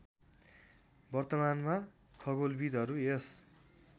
वर्तमानमा खगोलविद्हरू यस